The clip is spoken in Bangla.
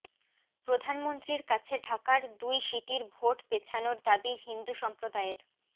প্রধানমন্ত্রীর কাছে ঢাকার দুই সিটির ভোট পেছানোর দাবি হিন্দু সম্প্রদায়ের